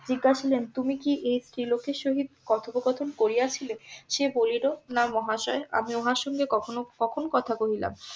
জিজ্ঞাসিলেন তুমি কি এই স্ত্রী লোকের সহিত কথোপকথন করিয়াছিলে সে বলিল না মহাশয় আমি উনার সঙ্গে কখনো~ কখন কথা বলিলাম?